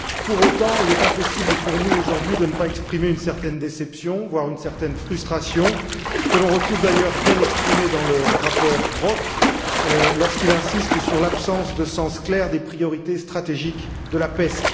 Pour autant, il est impossible pour nous, aujourd'hui, de ne pas exprimer une certaine déception, voire une certaine frustration, que l'on retrouve d'ailleurs bien exprimée dans le rapport Brok, lorsqu'il insiste sur l'absence de sens clair des priorités stratégiques de la PESC.